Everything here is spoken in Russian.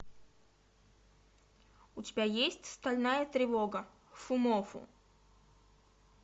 у тебя есть стальная тревога фумоффу